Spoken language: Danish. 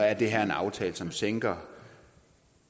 er det her en aftale som sænker